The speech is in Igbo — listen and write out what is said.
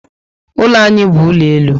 Ụlọ anyị bu ụlọ elu